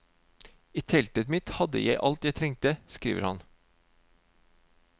I teltet mitt hadde jeg alt jeg trengte, skriver han.